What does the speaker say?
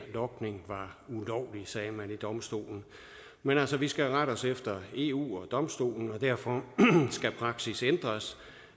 sagde man ved domstolen men altså vi skal rette os efter eu og domstolen og derfor skal praksis ændres